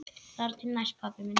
Þar til næst, pabbi minn.